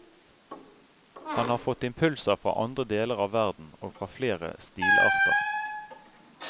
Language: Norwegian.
Han har fått impulser fra andre deler av verden, og fra flere stilarter.